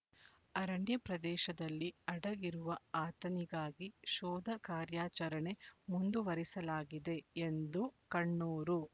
ಅರಣ್ಯ ಪ್ರದೇಶದಲ್ಲಿ ಅಡಗಿರುವ ಆತನಿಗಾಗಿ ಶೋಧ ಕಾರ್ಯಾಚರಣೆ ಮುಂದುವರಿಸಲಾಗಿದೆ ಎಂದು ಕಣ್ಣೂರು